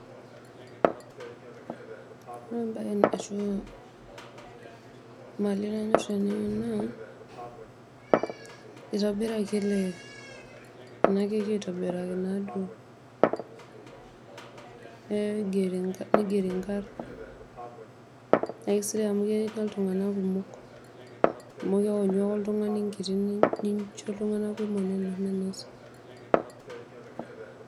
Ore embae ashu mali nainosie enaa naa itobiraki ele enakeki aitobiraki naaduo ee nigeri nkarn naisidai amu kenya ltunganak kumokamu keonyu ake oltungani enkiti nincho ltunganak kumok.